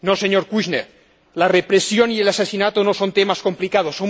no, señor Kouchner la represión y el asesinato no son temas complicados.